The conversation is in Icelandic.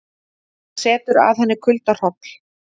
Það setur að henni kuldahroll.